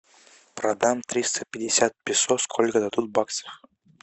продам триста пятьдесят песо сколько дадут баксов